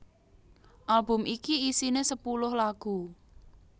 Album iki isiné sepuluh lagu